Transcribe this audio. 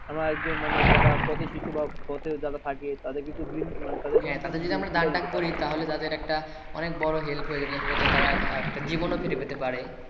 আবার একজন যারা পথের শিশু বা পথে যারা থাকে তাদের যদি আমরা করি তাহলে তাদের অনেক বড় help হয়ে যাবে তারা একটা জীবন ও ফিরে ও পেতে পারে